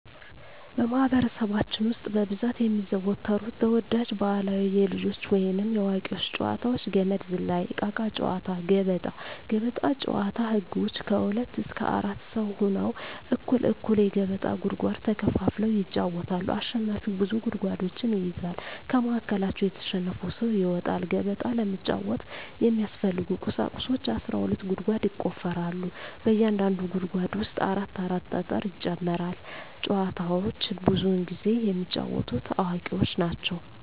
በማህበረሰባችን ውስጥ በብዛት የሚዘወተሩ ተወዳጅ ባህላዊ የልጆች ወይንም የአዋቂዎች ጨዋታዎች - ገመድ ዝላይ፣ እቃቃ ጨዎታ፣ ገበጣ። ገበጣ ጨዎታ ህጎች ከሁለት እስከ አራት ሰው ሁነው እኩል እኩል የገበጣ ጉድጓድ ተከፋፍለው ይጫወታሉ አሸናፊው ብዙ ጉድጓዶችን ይይዛል ከመሀከላቸው የተሸነፈው ሰው ይወጣል። ገበጣ ለመጫወት የሚያስፈልጊ ቁሳቁሶች አስራ ሁለት ጉድጓድ ይቆፈራል በእያንዳንዱ ጉድጓድ ውስጥ አራት አራት ጠጠር ይጨመራል። ጨዎቸውን ብዙውን ጊዜ የሚጫወቱት አዋቂዎች ናቸው።